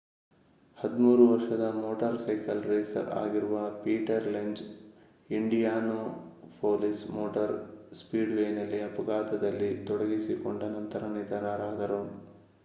13 ವರ್ಷದ motorcycle racer ಆಗಿರುವ Peter Lenz Indianapolis motor ಸ್ಪೀಡ್‌ವೇಯಲ್ಲಿ ಅಪಘಾತದಲ್ಲಿ ತೊಡಗಿಸಿಕೊಂಡ ನಂತರ ನಿಧನರಾದರು